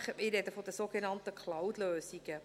Ich spreche von den sogenannten Cloud-Lösungen.